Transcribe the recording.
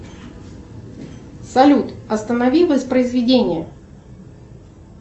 салют останови воспроизведение